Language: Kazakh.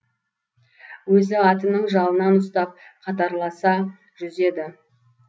өзі атының жалынан ұстап қатарласа жүзеді